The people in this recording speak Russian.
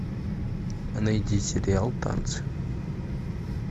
найди сериал танцы